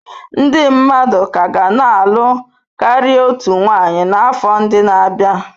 Ndị mmadụ ka ga na-alụ karịa otu nwanyị n'afọ ndị na-abịa.